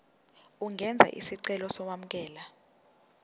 ungenza isicelo sokwamukelwa